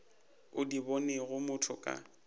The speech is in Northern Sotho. o di bonego motho ka